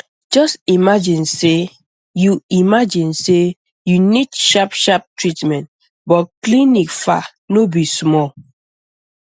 just imagine say you imagine say you need sharp sharp treatment but clinic far no be small